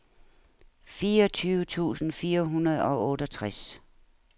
fireogtyve tusind fire hundrede og otteogtres